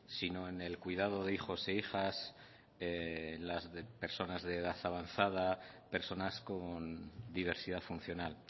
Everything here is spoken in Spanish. sino en el cuidado de hijos e hijas en las personas de edad avanzada personas con diversidad funcional